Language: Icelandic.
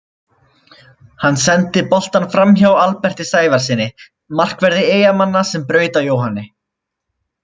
Hann sendi boltann framhjá Alberti Sævarssyni markverði Eyjamanna sem braut á Jóhanni.